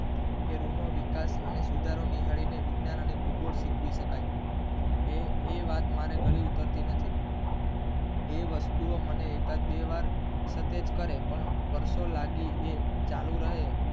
કે રૂ નો વિકાસ અને સુધારો નિહાળીને વિજ્ઞાન અને ભૂગોળ શીખવી શકાય એ વાત મારી ગળે ઉતરતી નથી એ વસ્તુ ઓ મને એકાદ બે વાર સતેજ કરે પણ વર્ષો લાગે અને ચાલુ રહે